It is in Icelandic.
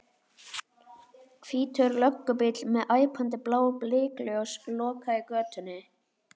Hvítur löggubíll með æpandi blá blikkljós lokaði götunni.